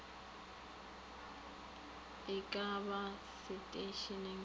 e ka ba seteišeneng sa